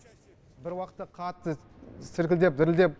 бір уақытта қатты сіркілдеп дірілдеп